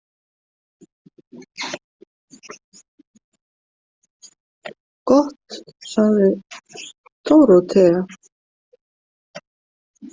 Gott, sagði Dórótea.